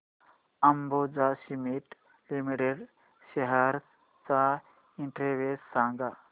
Ambuja cement limited shares चा index सांगा